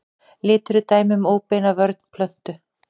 Litur er dæmi um óbeina vörn plöntu.